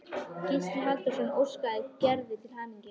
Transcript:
Gísli Halldórsson óskar Gerði til hamingju.